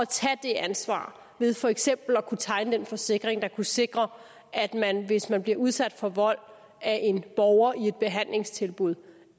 tage det ansvar ved for eksempel at kunne tegne en forsikring der kunne sikre at man hvis man bliver udsat for vold af en borger i et behandlingstilbud